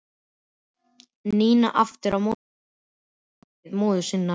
Nína aftur á móti örugg á sviði móður sinnar.